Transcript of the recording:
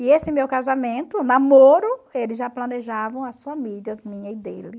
E esse meu casamento, o namoro, eles já planejavam as famílias minha e dele.